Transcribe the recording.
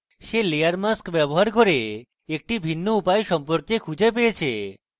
সে layer mask ব্যবহার করে একটি ভিন্ন উপায় সম্পর্কে খুঁজে পেয়েছে